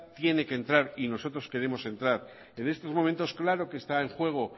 tiene que entrar y nosotros queremos entrar en estos momentos claro que está en juego